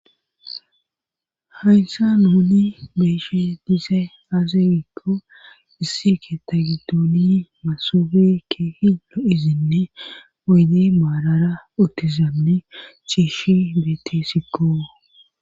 Haysa nuni beeshe diise azagikko issike tagidooni masofe keehilo izinne oyde maalara otizamne chiishi beete sikko.